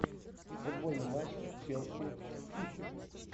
футбольный матч челси сити